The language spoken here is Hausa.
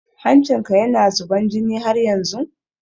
Hancin ka na zuban jini haryanzun?